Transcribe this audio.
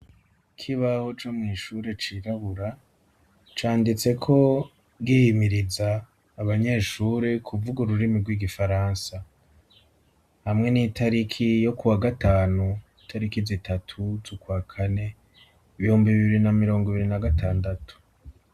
kibaho co mw'ishure cirabura canditse ko gihimiriza abanyeshuri kuvuga ururimi rw'igifaransa hamwe n'itariki yo ku wa gatanu itariki zitatu zukwa kane ibihumbi bibiri na mirongo ibiri na gatandatu.